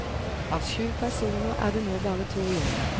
Av syv personer er det nå bare to igjen.